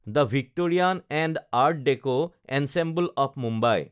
the Victorian and art deco ensemble of Mumbai